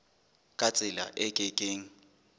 ka tsela e ke keng